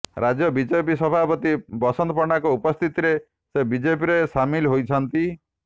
ରାଜ୍ୟ ବିଜେପି ସଭାପତି ବସନ୍ତ ପଣ୍ଡାଙ୍କ ଉପସ୍ଥିତିରେ ସେ ବିଜେପିରେ ସାମିଲ ହୋଇଛନ୍ତି